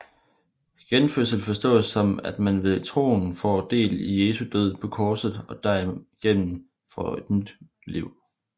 Genfødsel forstås som at man ved troen får del i Jesu død på korset og derigennem får et nyt liv